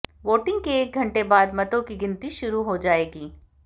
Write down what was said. voting के एक घंटे बाद मतों की गिनती शुरु हो जाएगी